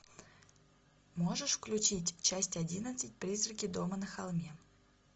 можешь включить часть одиннадцать призраки дома на холме